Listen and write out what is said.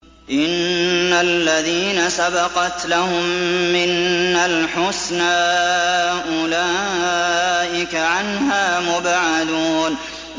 إِنَّ الَّذِينَ سَبَقَتْ لَهُم مِّنَّا الْحُسْنَىٰ أُولَٰئِكَ عَنْهَا مُبْعَدُونَ